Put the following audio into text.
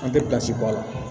An tɛ bɔ a la